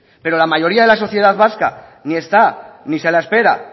pero la mayoría de la sociedad vasca ni está ni se la espera